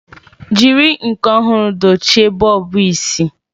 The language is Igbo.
Jiri nke ọhụrụ dochie bọlbụ isi.